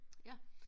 Ja